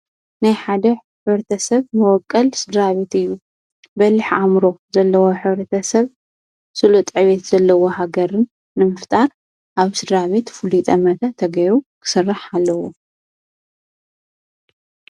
ናይ ሓደሰብ ሕብረተሰብ መወቀል ሥደራቤት እዩ በሊሕ ዓምሮ ዘለዎ ሕርተ ሰብ ስሎ ጠቤት ዘለዎ ሃገርን ንምፍጣር ኣብ ሥራቤት ፍሊጠ መተ ተገይሩ ክሥራሕ ኣለዉ።